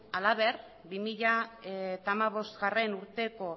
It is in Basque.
halaber bi mila hamabostgarrena urteko